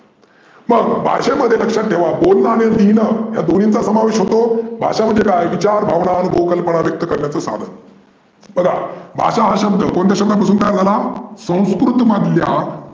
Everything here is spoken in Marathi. मग भाषेमध्ये लक्षात थेवा बोलने आणि लिहीनंं या दोन्हीचा समावेश होतो. भाषा म्हणजे काय? विचार, भावना आणि बोलनं पराव्यक्त करण्याच साधन. बघा भाषा हा शब्द कोणत्या भाषे पासून तयार झाला? संस्कृत मधल्या